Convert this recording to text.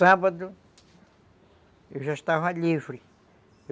Sábado eu já estava livre.